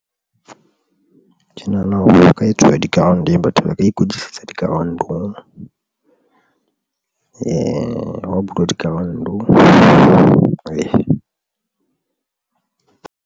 Ke nahana hore ho ka etsuwa di-ground batho ba ka ikwetlisetsa di-ground-ong ha o bulwa di-ground.